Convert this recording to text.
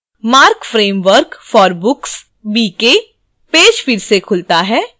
marc framework for books bk page फिर से खुलता है